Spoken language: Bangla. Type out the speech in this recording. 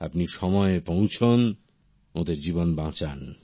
আপনি সময়ে পৌঁছোন জীবন বাঁচান